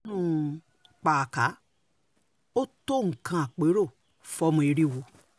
pàákà ò tó nǹkan àpérò fọ́mọ eriwo